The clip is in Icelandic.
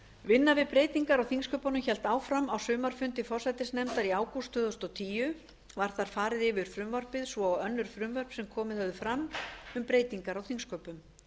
vinna við breytingar á þingsköpunum hélt áfram á sumarfundi forsætisnefndar í ágúst tvö þúsund og tíu var þar farið yfir frumvarpið svo og önnur frumvörp sem komið höfðu fram um breytingar á þingsköpum